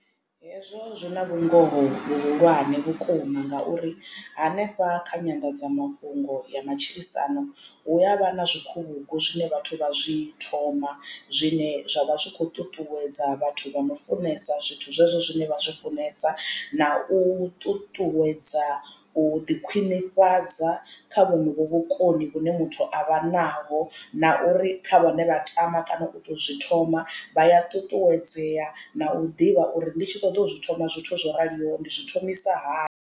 Hezwo zwi na vhungoho vhuhulwane vhukuma ngauri hanefha kha nyanḓadzamafhungo ya matshilisano hu avha na zwikhuvhugu zwine vhathu vha zwi thoma zwine zwavha zwi kho ṱuṱuwedza vhathu vha no funesa zwithu zwezwo zwine vha zwi funesa. Na u ṱuṱuwedza u ḓi khwinifhadza kha vhonovho vhukoni vhune muthu avha naho na uri kha vhane vha tama kana u to zwi thoma vha ya ṱuṱuwedzea na u ḓivha uri ndi tshi ṱoḓa u zwi thoma zwithu zwo raliho ndi zwi thomisa hani.